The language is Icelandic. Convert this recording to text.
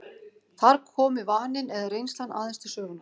Þar komi vaninn eða reynslan aðeins til sögunnar.